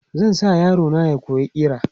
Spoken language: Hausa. Zan sa yaro na ya koyi ƙira.